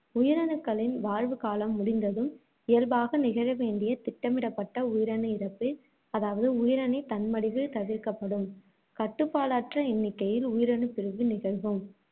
உயிரணுக்களின் வாழ்வுக்காலம் முடிந்ததும், இயல்பாக நிகழ வேண்டிய திட்டமிடப்பட்ட உயிரணு இறப்பு, அதாவது உயிரணு தன்மடிவு தவிர்க்கப்படும். கட்டுப்பாடற்ற எண்ணிக்கையில் உயிரணுப்பிரிவு நிகழும்.